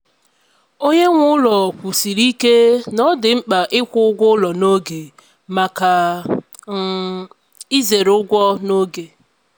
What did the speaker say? onyenweụlọ kwusiri ike na ọ dị mkpa ịkwụ ụgwọ ụlọ n'oge maka um izere ụgwọ n'oge.